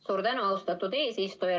Suur tänu, austatud eesistuja!